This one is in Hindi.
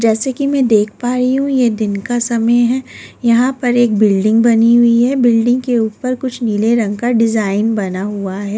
जैसे कि मैं देख पा रही हूं ये दिन का समय है यहां पर एक बिल्डिंग बनी हुई है बिल्डिंग के ऊपर कुछ नीले रंग का डिजाइन बना हुआ है।